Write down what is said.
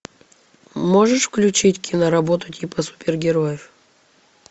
можешь включить киноработу типа супергероев